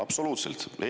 Absoluutselt!